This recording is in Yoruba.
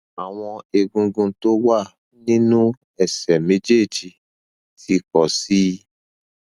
àwọn egungun tó wà nínú ẹsẹ méjèèjì ti pọ sí i